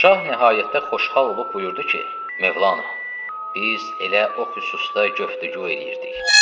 Şah nəhayətdə xoşhal olub buyurdu ki, Mövlana, biz elə o xüsusda göftügü eləyirdik.